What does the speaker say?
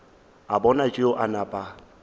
a bona tšeo a napa